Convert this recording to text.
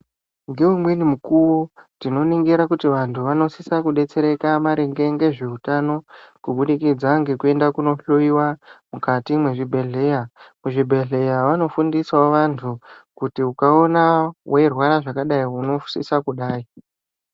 Ngeumweni mukuwo tinoningira kuti vamweni vantu vanosisa kudetsereka maringe ngezveutano kubudikidza ngekuenda kunohloiwa mukati mezvibhehleya. Kuzvibhehleya vanofundisawo vantu kuti ukaona weirwara zvakadai unosisa kudai.